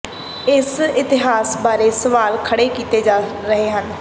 ਇਸ ਇਸ਼ਤਿਹਾਰ ਬਾਰੇ ਸਵਾਲ ਖੜੇ ਕੀਤੇ ਜਾ ਰਹੇ ਹਨ